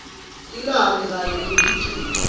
tilwane kanye nemikhicito